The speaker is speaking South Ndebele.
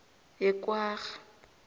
yekwarha